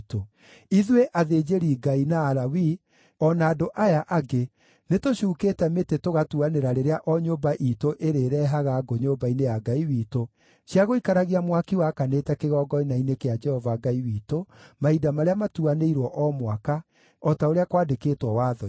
“Ithuĩ athĩnjĩri-Ngai, na Alawii o na andũ aya angĩ nĩtũcuukĩte mĩtĩ tũgatuanĩra rĩrĩa o nyũmba iitũ ĩrĩĩrehaga ngũ nyũmba-inĩ ya Ngai witũ, cia gũikaragia mwaki wakanĩte kĩgongona-inĩ kĩa Jehova Ngai witũ mahinda marĩa matuanĩirwo o mwaka, o ta ũrĩa kwandĩkĩtwo Watho-inĩ.